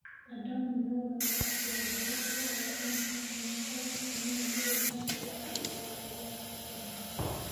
Andũ amwe moigaga atĩ wongerereku wa M-PESA nĩ ũkoretwo na moimĩrĩro moru harĩ wonjoria wa Kenya.